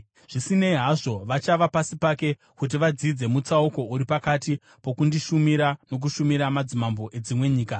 Zvisinei hazvo, vachava pasi pake kuti vadzidze mutsauko uri pakati pokundishumira nokushumira madzimambo edzimwe nyika.”